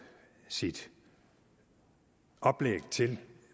sit oplæg til